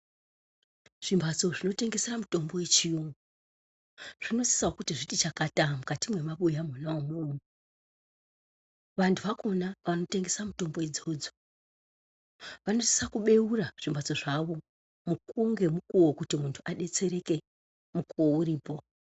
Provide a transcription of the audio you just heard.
Zvimhatso zvinotengesa mitombo yechiyungu zvinosisawo kuti zviti chakata mukati mwemabuyamwo mwonaumwo. Antu akona anotengesa mutombo dzona idzodzo anosisa kubeura zvitiro zvawo mukuwo ngemukuwo kuti muntu adetsereke nguwa iripo.